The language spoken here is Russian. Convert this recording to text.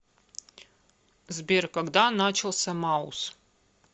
сбер когда начался маус